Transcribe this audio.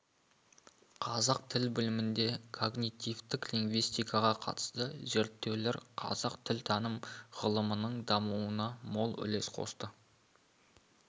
қазақ тіл білімінде когнитивтік лингвистикаға қатысты зерттеулер қазақ тілтаным ғылымының дамуына мол үлес қосты